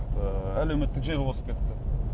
ыыы әлеуметтік желі озып кетті